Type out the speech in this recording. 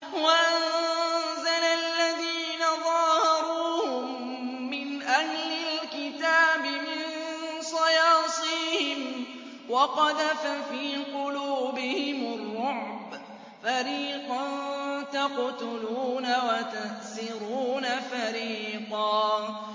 وَأَنزَلَ الَّذِينَ ظَاهَرُوهُم مِّنْ أَهْلِ الْكِتَابِ مِن صَيَاصِيهِمْ وَقَذَفَ فِي قُلُوبِهِمُ الرُّعْبَ فَرِيقًا تَقْتُلُونَ وَتَأْسِرُونَ فَرِيقًا